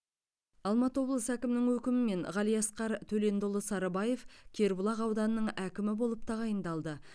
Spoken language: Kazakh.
алматы облысы әкімінің өкімімен ғалиасқар төлендіұлы сарыбаев кербұлақ ауданының әкімі болып тағайындалды